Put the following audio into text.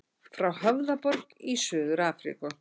Frá Höfðaborg í Suður-Afríku.